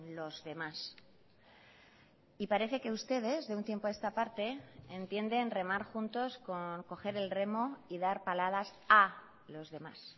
los demás y parece que ustedes de un tiempo a esta parte entienden remar juntos con coger el remo y dar paladas a los demás